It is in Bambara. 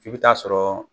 F'i bɛ taa sɔrɔ